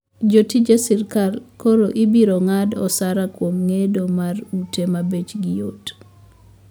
Jotije sirkal koro ibiro ng`ad osara kuom gedo mar ute mabechgi yot